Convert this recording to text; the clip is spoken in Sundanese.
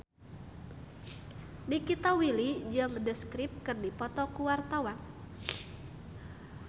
Nikita Willy jeung The Script keur dipoto ku wartawan